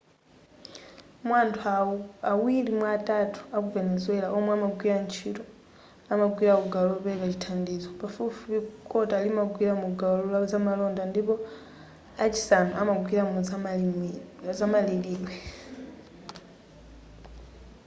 mwa anthu awiri mwa atatu aku venezuela omwe amagwira ntchito amagwira ku gawo lopereka chithandizo pafupifupi kota limagwira mu gawo la zamalonda ndipo a chisanu amagwira mu zamalilidwe